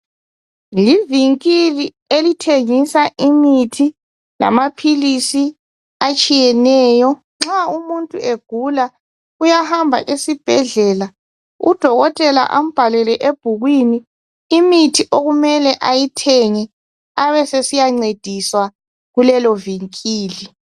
Livinkili elithengisa imithi lamaphilisi atshiyeneyo. Nxa umuntu egula uyahamba esibhedlela, udokotela ambhalele ebhukwini imithi okumele ayithenge abesesiyancediswa kulelo vinkili.